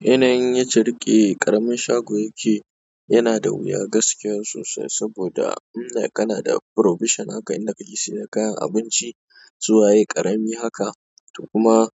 Yanayin yadda riƙe ƙaramin shago yake yana da wuya gaskiya sosai saboda in like kana da provision haka in da ka ke sayar da kayan abinci su waye ƙarami haka to. Kuma